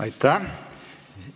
Aitäh!